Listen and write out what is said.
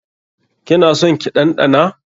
Ki na son ki ɗanɗana?